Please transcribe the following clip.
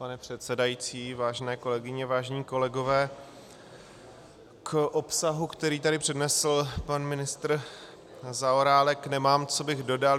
Pane předsedající, vážené kolegyně, vážení kolegové, k obsahu, který tady přednesl pan ministr Zaorálek, nemám, co bych dodal.